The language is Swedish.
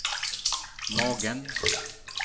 magen